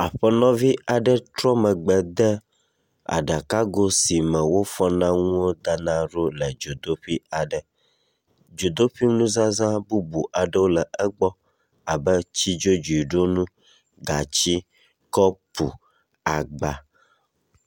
Aƒenɔvi aɖe trɔ megbe de aɖakago si me wofa nuwo dana ɖo le dzodoƒe aɖe. Dzodoƒi nuzazã bubu aɖewo le egbɔ abe tsidzodziɖonu, gati, kɔpu, agba.